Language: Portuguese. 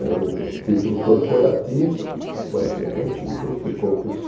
Era um um título corporativo, mas era um título que poucos